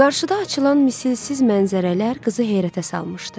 Qarşıda açılan misilsiz mənzərələr qızı heyrətə salmışdı.